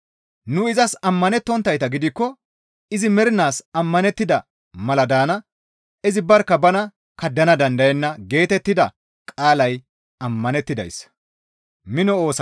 Nu izas ammanettonttayta gidikko izi mernaas ammanettida mala daana. Izi barkka bana kaddana dandayenna» geetettida qaalay ammanettidayssa.